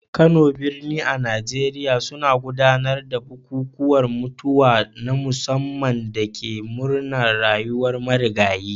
Kano, birni a Najeriya, suna gudanar da bukukuwan mutuwa na musamman da ke murnar rayuwar marigayin.